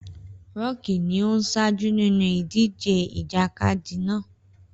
Rọ́ọ̀kì ni ó ń ṣáájú nínú ìdíje ìjàkadì náà